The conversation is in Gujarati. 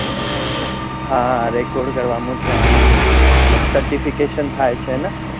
હા record કરવા નું છે એને મતલબ certification થાય છે ને